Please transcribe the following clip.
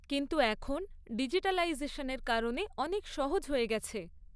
কিন্তু এখন ডিজিটালাইজেশনের কারণে অনেক সহজ হয়ে গেছে।